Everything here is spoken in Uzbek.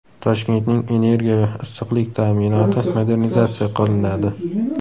Toshkentning energiya va issiqlik ta’minoti modernizatsiya qilinadi.